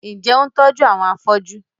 Ǹjẹ́, ò ń tójú àwọn afóju?